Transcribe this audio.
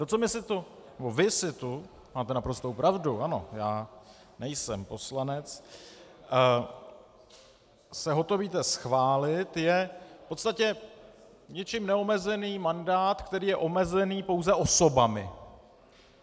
To, co my se tu - nebo vy se tu, máte naprostou pravdu, ano, já nejsem poslanec - se hotovíte schválit, je v podstatě ničím neomezený mandát, který je omezený pouze osobami.